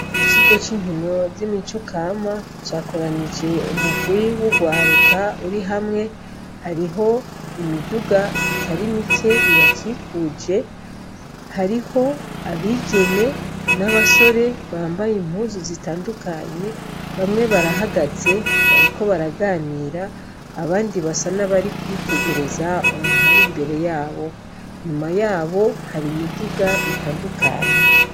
Ikibuga c'inkino z'imico kama cakoranije umugwi w'ugwaruka urihamwe. Hariho imiduga itarimike ibakuje, hariho abigeme n'abasore bambaye impuzu zitandukanye. Bamwe barahagaze bariko baraganira abandi basa nabarikwitegereza umuntu ar'imbere yabo. Inyuma yabo har'imiduga itandukanye.